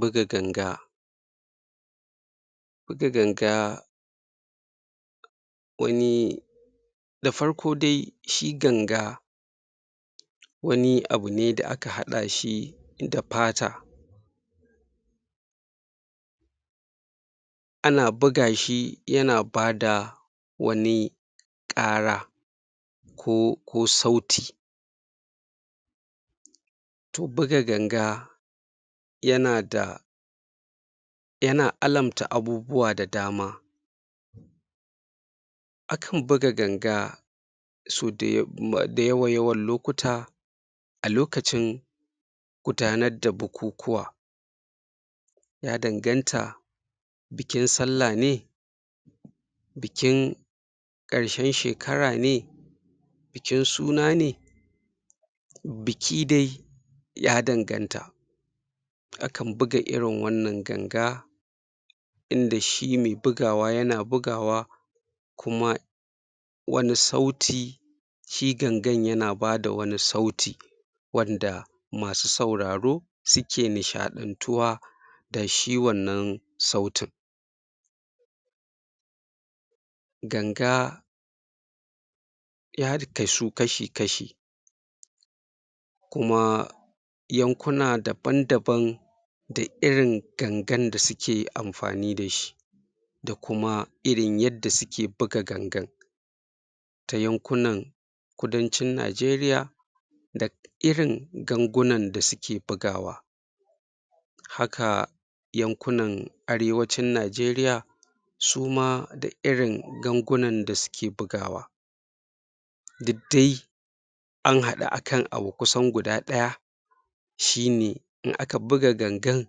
Buga ganga buga ganga wani da farko dai shi ganga wani abu ne da aka haɗa shi da fata ana buga shi yana bada wani ƙara ko sauti to buga ganga yana da yana alamta abubuwa da dama akan buga ganga sau da yawa-yawan lokuta a lokacin gudanar da bukukuwa ya danganta bikin salla ne bikin ƙarshen shekara ne bikin suna ne biki dai ya danganta akan buga irin wannan ganga inda shi me bugawa yana bugawa kuma wani sauti shi gangan yana bada wani sauti wanda masu sauraro suke nishaɗantuwa da shi wannan sautin ganga ya kasu kashi-kashi kuma yankuna daban-daban da irin gangan da suke amfani da shi da kuma irin yadda suke buga gangar ta yankunan Kudancin Najeriya da irin gangunan da suke bugawa haka yankunan Arewacin Najeriya su ma da irin gangunan da suke bugawa duk dai an haɗu akan abu kusan guda ɗaya shi ne in aka buga gangan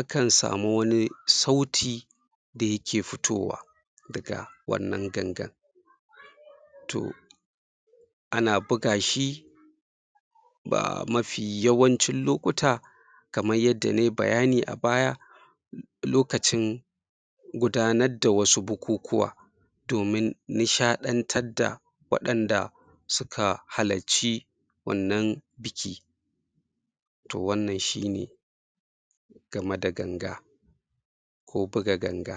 akan samu wani sauti da yake fitowa daga wannan gangan to ana buga shi ba mafi yawancin lokuta kamar yadda nayi bayani a baya lokacin gudanar da wasu bukukuwa domin nishaɗantar da waɗanda suka halarci wannan biki to wannan shi ne game da ganga ko buga ganga.